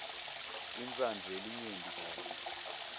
intsandvo yelinyenti kanye